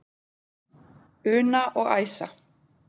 Una og Æsa.